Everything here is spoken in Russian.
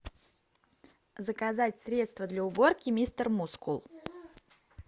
заказать средство для уборки мистер мускул